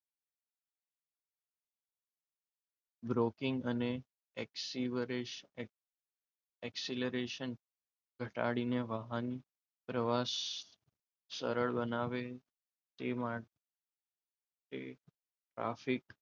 broking અને acceleration ઘટાડીને વાહન પ્રવાસ સરળ બનાવે તે મા ટે ટ્રાફિક